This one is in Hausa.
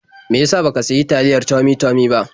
Me ya sa ba ka sayi taliyae Tummy-tummy ba?